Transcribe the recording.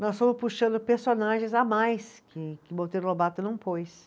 nós fomos puxando personagens a mais que que o Monteiro Lobato não pôs.